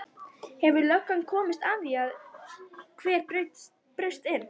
Hefur löggan komist að því hver braust inn?